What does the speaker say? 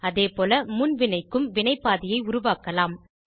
அதேபோல முன் வினைக்கும் வினைப்பாதையை உருவாக்கலாம்